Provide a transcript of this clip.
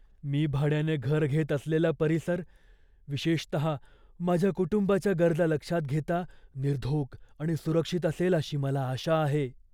मी भाड्याने घर घेत असलेला परिसर, विशेषतः माझ्या कुटुंबाच्या गरजा लक्षात घेता, निर्धोक आणि सुरक्षित असेल अशी मला आशा आहे.